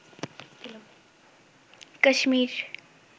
Kashmir